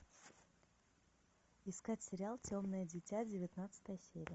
искать сериал темное дитя девятнадцатая серия